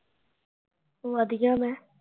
ਵਧੀਆ ਮੈਂ